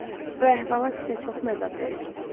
Jasper, bu əhvalat sizə çox əzab verir.